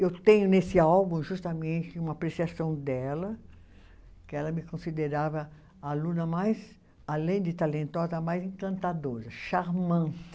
Eu tenho nesse álbum justamente uma apreciação dela, que ela me considerava a aluna mais, além de talentosa, a mais encantadora, charmant.